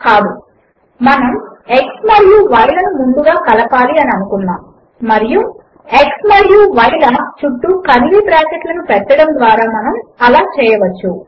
కాదు మనము x మరియు y లను ముందుగా కలపాలి అని అనుకున్నాము మరియు x మరియు y ల చుట్టూ కర్లీ బ్రాకెట్లను పెట్టడము ద్వారా మనము అలా చేయవచ్చు